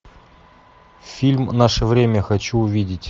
фильм наше время хочу увидеть